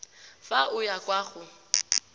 fa o ya kwa go